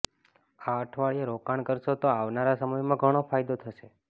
આ અઠવાડિયે રોકાણ કરશો તો આવનારા સમયમાં ઘણો ફાયદો થશે